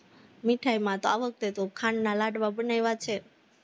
મીઠાઈમા તો આ વખતે તો ખાંડના લાડવા બનાવા છે,